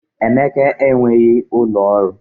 Emeka enweghị ụlọ ọrụ